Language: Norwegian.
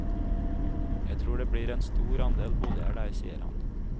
Jeg tror det blir en stor andel boliger der, sier han.